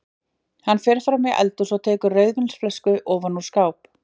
Hann fer fram í eldhús og tekur rauðvínsflösku ofan úr skáp.